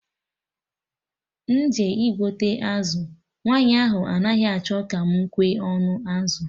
M jee igote azụ, nwaanyị ahụ anaghị achọ ka mụ kwee ọnụ azụ